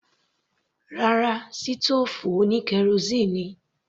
Rárá, sítòòfù oní kerosíínì ni.